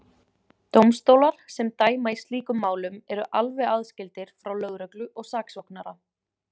Dómstólar sem dæma í slíkum málum eru alveg aðskildir frá lögreglu og saksóknara.